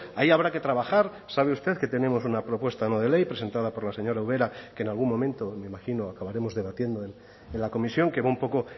ahí habrá que trabajar sabe usted que tenemos una propuesta no de ley presentada por la señora ubera que en algún momento me imagino acabaremos debatiendo en la comisión que va un poco